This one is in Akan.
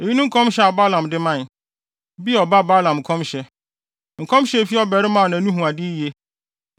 Eyi ne nkɔmhyɛ a Balaam de mae: “Beor ba Balaam nkɔmhyɛ, nkɔmhyɛ a efi ɔbarima a nʼani hu ade yiye,